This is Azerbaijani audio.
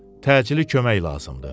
Təcili kömək lazımdır.